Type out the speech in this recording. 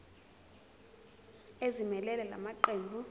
ezimelele la maqembu